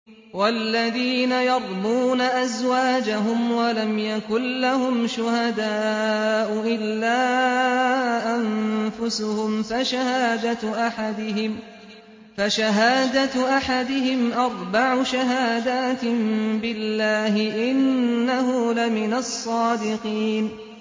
وَالَّذِينَ يَرْمُونَ أَزْوَاجَهُمْ وَلَمْ يَكُن لَّهُمْ شُهَدَاءُ إِلَّا أَنفُسُهُمْ فَشَهَادَةُ أَحَدِهِمْ أَرْبَعُ شَهَادَاتٍ بِاللَّهِ ۙ إِنَّهُ لَمِنَ الصَّادِقِينَ